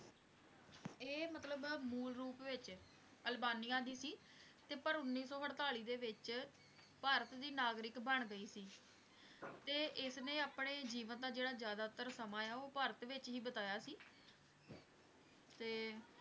Albania ਦੀ ਸੀ ਤੇ ਪਰ ਉੱਨੀ ਸੌ ਆੜਤੀ ਦੇ ਵਿਚ ਭਾਰਤ ਦੀ ਨਾਗਰਿਕ ਬਣ ਗਯੀ ਸੀ ਤੇ ਇਸ ਨੇ ਆਪਣੇ ਜੀਐਵੈਂ ਦਾ ਜਿਹੜਾ ਜ਼ਆਦਾਤਰ ਸਮਾਂ ਆ ਉਹ ਭਾਰਤ ਵਿਚ ਹੀ ਬਿਤਾਇਆ ਸੀ ਤੇ